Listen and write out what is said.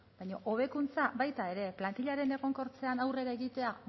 baina hobekuntza baita ere plantilaren egonkortzean aurrera egitea